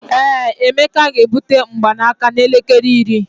ee, emeka ga-ebute mgbanaka n'elekere iri